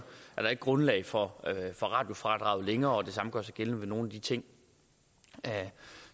er der ikke grundlag for for radiofradraget længere og det samme gør sig gældende med nogle af de ting